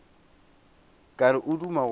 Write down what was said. ka re o duma go